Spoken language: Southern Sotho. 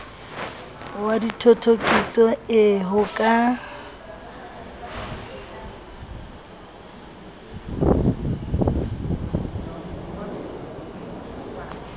wa dithothokiso ee ho ka